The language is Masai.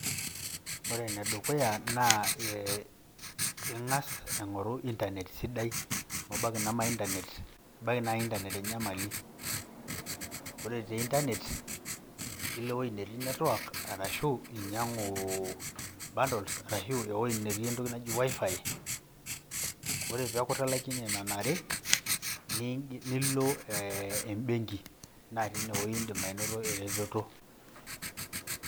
Ore ene dukuya naa ee ing`as aing`oru internet sidai amu ebaiki neme internet ebaiki naa internet enyamali. Ore te internet ilo ewueji netii network ashuu inyiang`u bundles ashu ewueji netii entoki naji wi-fi. Ore pee eaku italaikine nena are nilo ee ebenki naa teine wueji idim anoto e retoto.